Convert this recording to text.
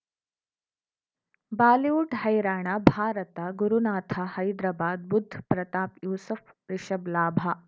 Bollywood ಹೈರಾಣ ಭಾರತ ಗುರುನಾಥ ಹೈದರಾಬಾದ್ ಬುಧ್ ಪ್ರತಾಪ್ ಯೂಸುಫ್ ರಿಷಬ್ ಲಾಭ